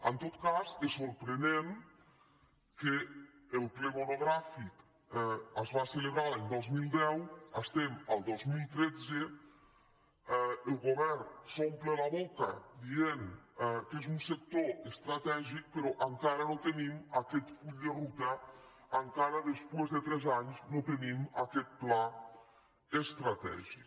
en tot cas és sorprenent que el ple monogrà·fic se celebrés l’any dos mil deu estiguem al dos mil tretze el govern s’ompli la boca dient que és un sector estratègic però encara no tinguem aquest full de ruta encara després de tres anys no tinguem aquest pla estratègic